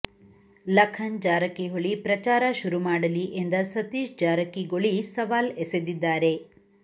ಲಖನ್ ಜಾರಕಿಹೊಳಿ ಪ್ರಚಾರ ಶುರು ಮಾಡಲಿ ಎಂದ ಸತೀಶ್ ಜಾರಕಿಗೊಳಿ ಸವಾಲ್ ಎಸೆದಿದ್ದಾರೆ